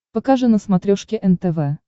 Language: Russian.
покажи на смотрешке нтв